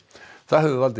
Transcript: það hefur valdið